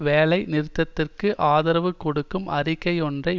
வேலை நிறுத்தத்திற்கு ஆதரவு கொடுக்கும் அறிக்கை ஒன்றை